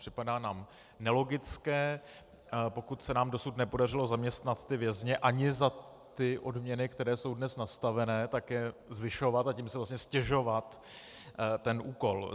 Připadá nám nelogické, pokud se nám dosud nepodařilo zaměstnat ty vězně ani za ty odměny, které jsou dnes nastaveny, tak je zvyšovat, a tím si vlastně ztěžovat ten úkol.